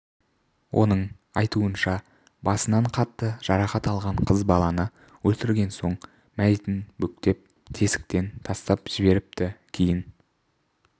оның айтуынша басынан қатты жарақат алған қыз баланы өлтірген соң мәйітін бүктеп тесіктен тастап жіберіпті кейін